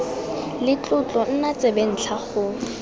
le tlotlo nna tsebentlha go